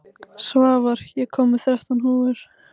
Svavar, ég kom með þrettán húfur!